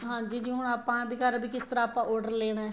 ਹਾਂਜੀ ਜਿਵੇ ਹੁਣ ਆਪਾਂ ਵੀ ਕਿਸ ਤਰ੍ਹਾਂ ਆਪਾਂ order ਲੈਣਾ ਏ